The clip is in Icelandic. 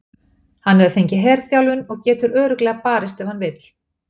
Hann hefur fengið herþjálfun og getur örugglega barist ef hann vill.